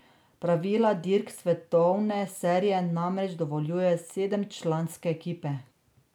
Pravila dirk svetovne serije namreč dovoljujejo sedemčlanske ekipe.